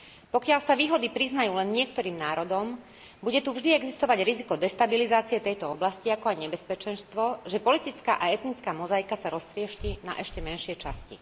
Pokiaľ sa výhody priznajú len niektorým národom, bude tu vždy existovať riziko destabilizácie tejto oblasti, ako aj nebezpečenstvo, že politická a etnická mozaika sa roztriešti na ešte menšie časti.